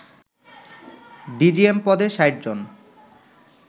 DGM পদে ৬০ জন